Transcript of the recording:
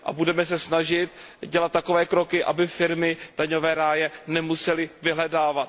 Budeme se snažit dělat takové kroky, aby firmy daňové ráje nemusely vyhledávat.